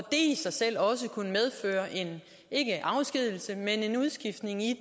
i sig selv også medføre ikke en afskedigelse men en udskiftning i